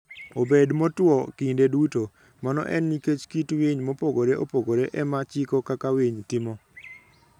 obed motwo kinde duto. Mano en nikech kit winy mopogore opogore e ma chiko kaka winy timo.